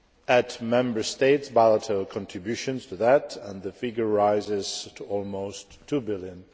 Add Member States' bilateral contributions to that and the figure rises to almost EUR 2 billion.